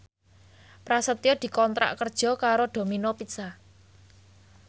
Prasetyo dikontrak kerja karo Domino Pizza